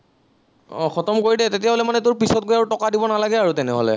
আহ খতম কৰি দে, তেতিয়া হলে মানে তোৰ পিছত গৈ আৰু টকা দিব নালাগে আৰু তেনেহলে